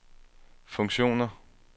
funktioner